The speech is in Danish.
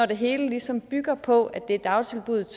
det hele ligesom bygger på at det er dagtilbuddet